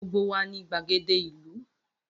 Gbogbo wa ni gbagede ilu.